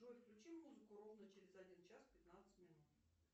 джой включи музыку ровно через один час пятнадцать минут